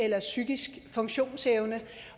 eller psykisk funktionsevne